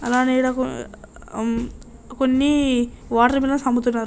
అలానే అం కొన్ని వాటర్ మిలిన్స్ అమ్ముతున్నారు.